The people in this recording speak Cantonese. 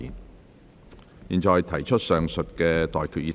我現在向各位提出上述待決議題。